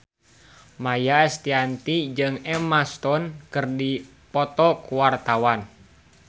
Maia Estianty jeung Emma Stone keur dipoto ku wartawan